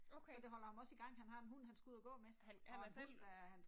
Okay. Han han er selv